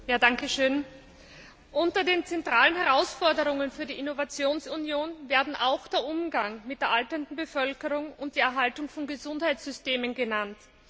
Herr Präsident! Unter den zentralen Herausforderungen für die Innovationsunion werden auch der Umgang mit der alternden Bevölkerung und die Erhaltung von Gesundheitssystemen genannt.